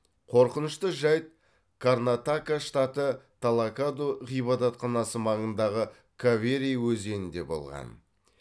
қорқынышты жайт карнатака штаты талакаду ғибадатханасы маңындағы кавери өзенінде болған